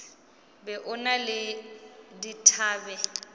be o na le dithabe